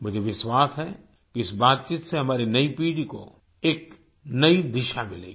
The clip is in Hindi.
मुझे विश्वास है कि इस बातचीत से हमारी नई पीढ़ी को एक नई दिशा मिलेगी